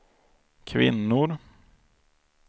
kvinnor